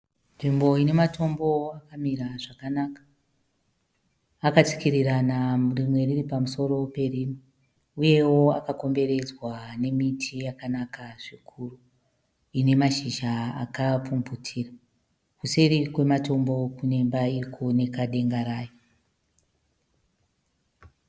Nzvimbo ine matombo akamira zvakanaka . Akatsikirirana rimwe riri pamusoro perimwe. Uyewo akakomberedzwa nemiti yakanaka zvikuru. Ine mashizha akapfumvutira. Kuseri kwematombo kune imba irikuoneka denga rayo.